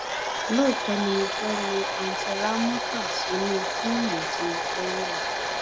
lóòótọ ni mo fẹẹ lo àùntì ramota sínú fíìmù tí mo fẹẹ yà